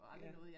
Ja